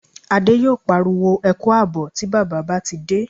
Adé yóò pariwo "Ẹ kú àbọ̀" tí bàbá bá ti dé